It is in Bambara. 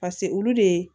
pase olu de